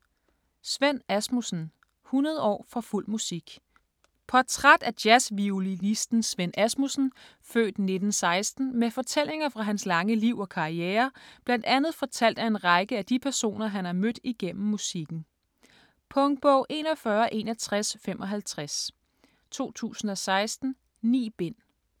Svend Asmussen: 100 år for fuld musik Portræt af jazzviolinisten Svend Asmussen (f. 1916) med fortællinger fra hans lange liv og karriere bl.a. fortalt af en række af de personer han har mødt igennem musikken. Punktbog 416155 2016. 9 bind.